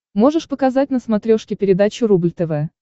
можешь показать на смотрешке передачу рубль тв